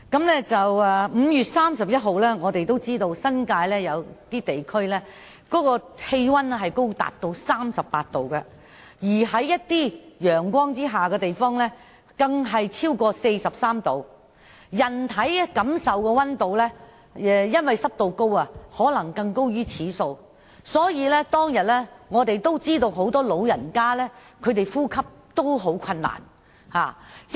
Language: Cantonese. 眾所周知，在5月31日，新界部分地區的氣溫高達 38°C， 有些地方的氣溫在陽光照射下甚至超過 43°C， 而體感溫度更可能因為濕度高而高於此數，所以當天很多長者感到呼吸困難。